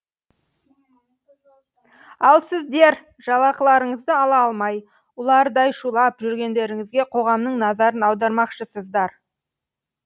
ал сіздер жалақыларыңызды ала алмай ұлардай шулап жүргендеріңізге қоғамның назарын аудармақшысыздар